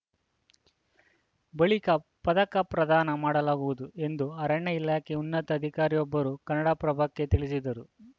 ಬಳಿಕ ಪದಕ ಪ್ರದಾನ ಮಾಡಲಾಗುವುದು ಎಂದು ಅರಣ್ಯ ಇಲಾಖೆಯ ಉನ್ನತ ಅಧಿಕಾರಿಯೊಬ್ಬರು ಕನ್ನಡಪ್ರಭಕ್ಕೆ ತಿಳಿಸಿದರು